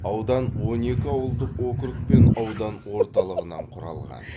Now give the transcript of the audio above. аудан он екі ауылдық округ пен аудан орталығынан құралған